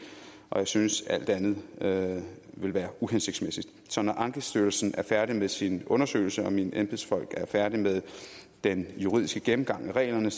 og jeg synes at alt andet ville være uhensigtsmæssigt så når ankestyrelsen er færdig med sin undersøgelse og mine embedsfolk er færdige med den juridiske gennemgang af reglerne